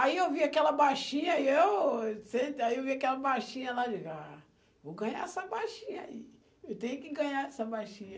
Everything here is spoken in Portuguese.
Aí eu vi aquela baixinha, e eu sento, aí eu vi aquela baixinha lá, eu digo, ah, eu vou ganhar essa baixinha aí, eu tenho que ganhar essa baixinha.